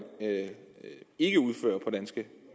ikke udfører på danske